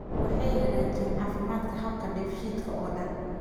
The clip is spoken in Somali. Waxay hagaajiyaan caafimaadka habka dheefshiidka oo dhan.